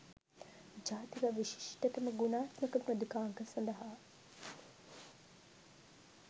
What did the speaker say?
ජාතික විශිෂ්ටතම ගුණාත්මක මෘදුකාංග සඳහා